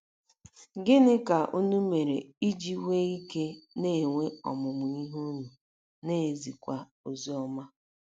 Gịnị ka unu mere iji nwee ike ịna - enwe ọmụmụ ihe unu, na - ezikwa oziọma?